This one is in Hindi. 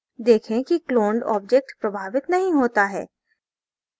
देखें कि cloned object प्रभावित नहीं होता है